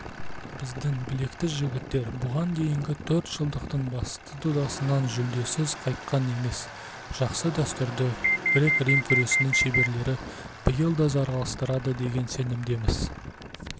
біздің білекті жігіттер бұған дейінгі төрт жылдықтың басты додасынан жүлдесіз қайтқан емес жақсы дәстүрді грек-рим күресінің шеберлері биыл да жалғастырады деген сенімдеміз